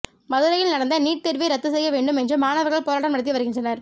மதுரையில் நடந்த நீட் தேர்வை ரத்து செய்ய வேண்டும் என்று மாணவர்கள் போராட்டம் நடத்தி வருகின்றனர்